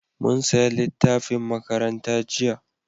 Mun saya littafin makaranta jiya